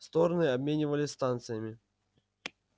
стороны обменивались станциями